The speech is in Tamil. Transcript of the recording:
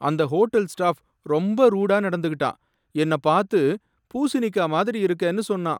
அந்த ஹோட்டல் ஸ்டாஃப் ரொம்ப ரூடா நடந்துக்கிட்டான். என்னப் பாத்து பூசணிக்காய் மாதிரி இருக்கேன்னு சொன்னான்.